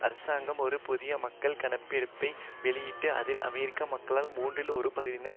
அரசாங்கம் ஒரு புதிய மக்கள் கணக்கெடுப்பை வெளியிட்டது அதில் அமெரிக்க மக்களில் மூன்றில் ஒரு பகுதியினர்